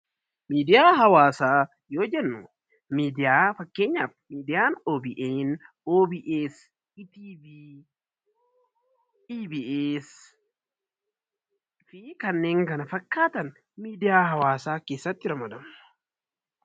Miidiyaa hawaasaa yoo jennu miidiyaa fakkeenyaaf miidiyaa OBN, OBS, EBS fi kanneen kana fakkaatan miidiyaa hawaasaa keessatti ramadamu.